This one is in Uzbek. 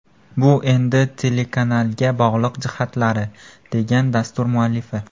Bu endi telekanalga bog‘liq jihatlari”, degan dastur muallifi.